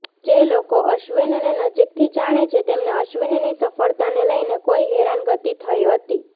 જે લોકો અશ્વિનને નજીકથી જાણે છે તેમને અશ્વિનની સફળતાને લઇને કોઇ હેરાનગતિ થઇ હતી